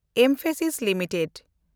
Mphasis limited